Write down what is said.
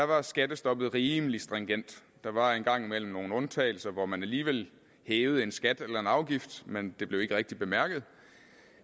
var skattestoppet rimelig stringent der var en gang imellem nogle undtagelser hvor man alligevel hævede en skat eller en afgift men det blev ikke rigtig bemærket